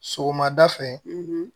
Sɔgɔmada fɛ